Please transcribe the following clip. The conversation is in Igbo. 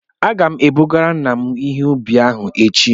Aga m ebugara nna m ihe ubi ahụ echi